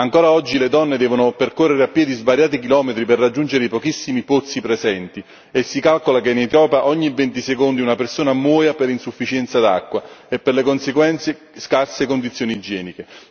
Ancora oggi le donne devono percorrere a piedi svariati chilometri per raggiungere i pochissimi pozzi presenti e si calcola che in Etiopia ogni 20 secondi una persona muoia per insufficienza d'acqua e per le conseguenze di scarse condizioni igieniche.